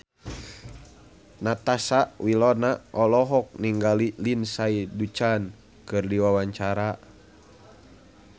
Natasha Wilona olohok ningali Lindsay Ducan keur diwawancara